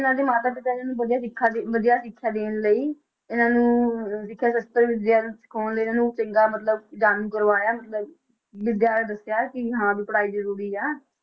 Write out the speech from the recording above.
ਇਹਨਾਂ ਦੇ ਮਾਤਾ ਪਿਤਾ ਜੀ ਨੇ ਵਧੀਆ ਸਿੱਖਿਆ ਦੇ, ਵਧੀਆ ਸਿੱਖਿਆ ਦੇਣ ਲਈ ਇਹਨਾਂ ਨੂੰ ਸਿੱਖਿਆ ਸਸਤ੍ਰ ਵਿਦਿਆ ਸਿਖਾਉਣ ਲਈ ਇਹਨਾਂ ਨੂੰ ਚੰਗਾ ਮਤਲਬ ਜਾਣੂ ਕਰਵਾਇਆ ਮਤਲਬ ਵਿਦਿਆ ਬਾਰੇ ਦੱਸਿਆ ਕਿ ਹਾਂ ਵੀ ਪੜ੍ਹਾਈ ਜ਼ਰੂਰੀ ਹੈ,